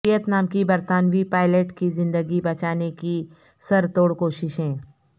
Vietnam کی برطانوی pilot کی زندگی بچانے کی سر توڑ کوششیں